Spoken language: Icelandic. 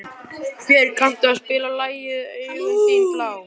Björg, kanntu að spila lagið „Augun þín blá“?